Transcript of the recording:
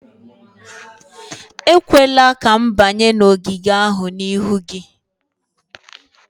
Ekwela ka m banye n'ogige ahụ n'ihu gị!